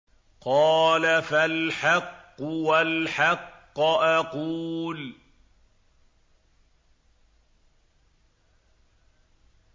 قَالَ فَالْحَقُّ وَالْحَقَّ أَقُولُ